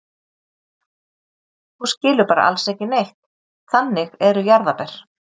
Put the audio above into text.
Þú skilur bara alls ekki neitt, þannig eru jarðarber.